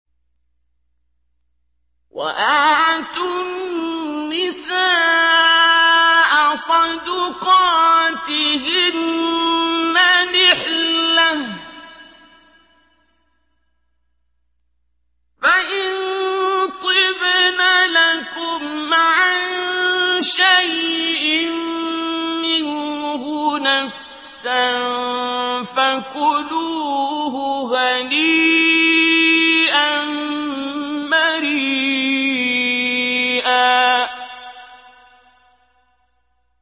وَآتُوا النِّسَاءَ صَدُقَاتِهِنَّ نِحْلَةً ۚ فَإِن طِبْنَ لَكُمْ عَن شَيْءٍ مِّنْهُ نَفْسًا فَكُلُوهُ هَنِيئًا مَّرِيئًا